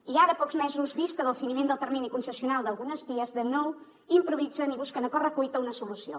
i ara a pocs mesos vista del finiment del termini de concessió d’algunes vies de nou improvisen i busquen a correcuita una solució